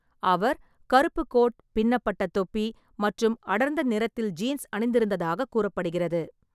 அவர் கருப்பு கோட், பின்னப்பட்ட தொப்பி மற்றும் அடர்ந்த நிறத்தில் ஜீன்ஸ் அணிந்திருந்ததாகக் கூறப்படுகிறது.